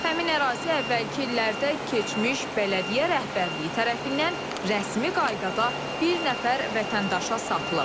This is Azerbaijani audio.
Həmin ərazi əvvəlki illərdə keçmiş bələdiyyə rəhbərliyi tərəfindən rəsmi qaydada bir nəfər vətəndaşa satılıb.